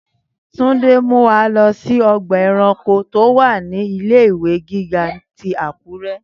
Túndé ń mú wa lọ sí ọgbà ẹranko tó wà nínú ilé ìwé gíga ti Àkúrẹ́